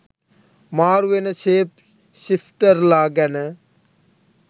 මාරු වෙන ශේප් ශිෆ්ටර්ලා ගැන